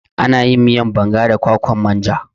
Ana yin miyan banga da kwakwan manja